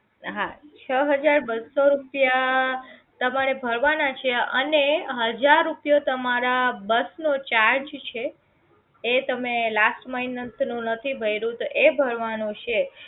હા છ હજાર બસો રૂપિયા તમારે ભરવાના છે અને હજાર રૂપિયા તમારો બસ નો charge છે એ તમે last month નથી ભર્યો તો એ ભરવાનો છે